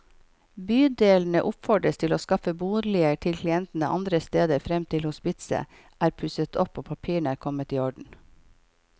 Bydelene oppfordres til å skaffe boliger til klientene andre steder frem til hospitset er pusset opp og papirene er kommet i orden.